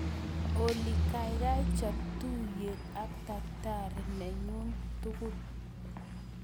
Olly gaigai chob tuuyeet ak tagitari nenyun tugul